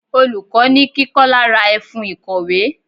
Olùkọ́ ni kí Kọ́lá ra ẹfun ìkọ̀wé.